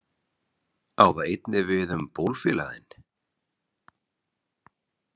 Á það einnig við um bólfélaga þinn?